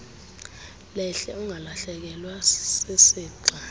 lehle ungalahlekelwa sisixa